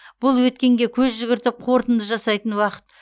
бұл өткенге көз жүгіртіп қорытынды жасайтын уақыт